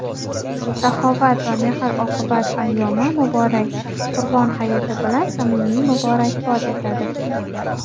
saxovat va mehr-oqibat ayyomi – muborak Qurbon hayiti bilan samimiy muborakbod etadi.